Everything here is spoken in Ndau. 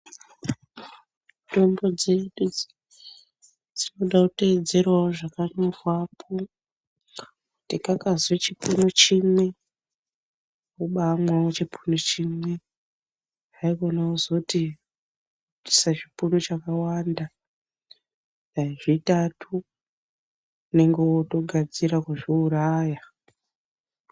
Tombo dzedu dzinoda kuteedzerawo zvakanyorwapo Kuti kakazi chipunu chimwe wobamwawo chipunu chimwe haikona kuzoti isa zvipunu chakawanda dai zvitatu unenge wotogadzira kuzviuraya.